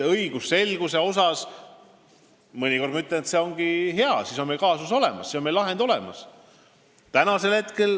Õigusselguse jaoks see ongi mõnikord hea, siis on meil kaasus olemas, siis on meil lahend olemas.